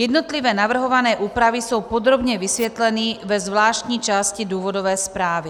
Jednotlivé navrhované úpravy jsou podrobně vysvětleny ve zvláštní části důvodové zprávy.